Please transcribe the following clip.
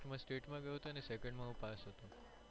state માં ગયો તો ને અને second માં હું પાસ હતો.